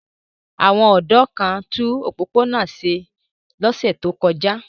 Àwọn ọ̀dọ́ kan tún opopona náa ṣe lọ́sẹ̀ tó kọjá.